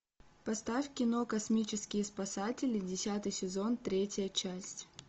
поставь кино космические спасатели десятый сезон третья часть